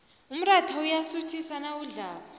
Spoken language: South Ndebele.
umrayha uyasuthisa nawudlako